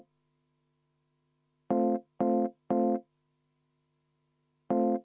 Vaheaeg kümme minutit.